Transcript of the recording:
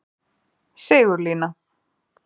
Sigurlína